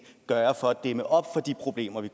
gøre for at dæmme op for de problemer vi